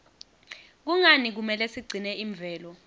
kungani kumele sigcine imvelo